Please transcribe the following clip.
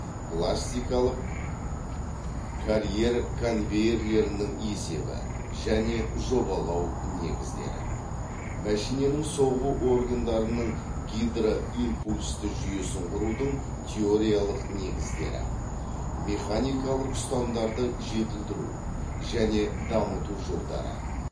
пластикалық карьер конвейерлерінің есебі және жобалау негіздері мәшиненің соғу органдарының гидроимпульсті жүйесін құрудың теориялық негіздері механикалық ұстамдарды жетілдіру және дамыту жолдары